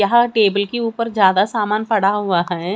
यहां टी_वी के ऊपर ज्यादा सामान पड़ा हुआ है।